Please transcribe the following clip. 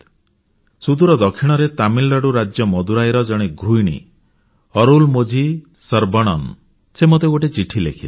ସୁଦୂର ଦକ୍ଷିଣରେ ତାମିଲନାଡ଼ୁ ରାଜ୍ୟ ମଦୁରାଇର ଜଣେ ଗୃହିଣୀ ଅରୁଲମୋଝି ଶରବଣନ୍ ସେ ମୋତେ ଗୋଟିଏ ଚିଠି ଲେଖିଲେ